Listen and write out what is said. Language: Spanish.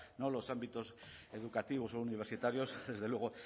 los ámbitos educativos o universitarios desde luego